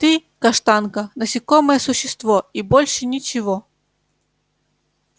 ты каштанка насекомое существо и больше ничего